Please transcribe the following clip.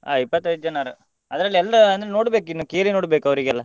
ಆ ಇಪ್ಪತೈದ್ ಜನಾನು ಅದ್ರಲ್ಲಿ ಎಲ್ಲ ನೋಡ್ಬೇಕು ಇನ್ನು ಕೇಳಿ ನೋಡ್ಬೇಕು ಅವ್ರಿಗೆಲ್ಲ.